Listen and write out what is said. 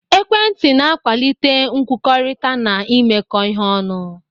Ekwentị na-akwalite nkwukọrịta na imekọ ihe ọnụ.